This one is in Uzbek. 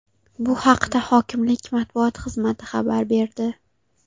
Bu haqda hokimlik matbuot xizmati xabar berdi.